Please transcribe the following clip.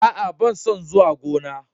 A'a, ban son zuwa gona.